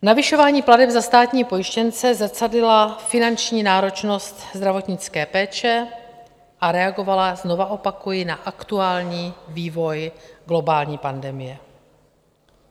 Navyšování plateb za státní pojištěnce zrcadlila finanční náročnost zdravotnické péče a reagovala, znovu opakuji, na aktuální vývoj globální pandemie.